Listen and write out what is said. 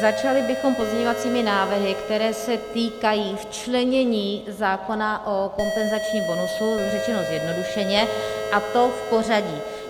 Začali bychom pozměňovacími návrhy, které se týkají včlenění zákona o kompenzačním bonusu, řečeno zjednodušeně, a to v pořadí: